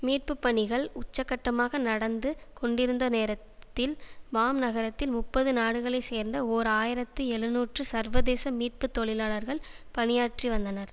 மீட்புப்பணிகள் உச்சக்கட்டமாக நடந்து கொண்டிருந்த நேரத்தில் பாம் நகரத்தில் முப்பது நாடுகளை சேர்ந்த ஓர் ஆயிரத்தி எழுநூற்று சர்வதேச மீட்பு தொழிலாளர்கள் பணியாற்றி வந்தனர்